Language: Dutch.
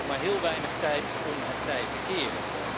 En we hebben nog maar heel weinig tijd om het tij te keren.